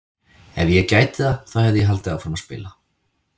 Ef ég gæti það þá hefði ég haldið áfram að spila!